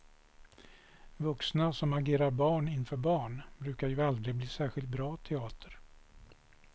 Vuxna som agerar barn inför barn brukar ju aldrig bli särskilt bra teater.